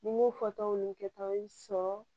Ni n m'o fɔ tɔw ni kɛtaw sɔrɔ